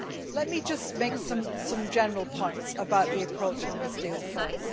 Let me just make some general points about the approach on this deal first.